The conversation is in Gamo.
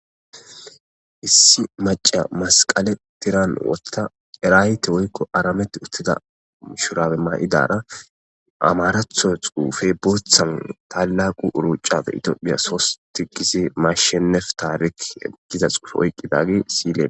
lssi maca masqale tiran wotta eraayte woykko aramett uttida ushurabe ma'idara amaratho xuufe boothan talaqu uruucafe itiophiya sosti gisi mashshenef taarik giza xuufe oyqqidagi siyle.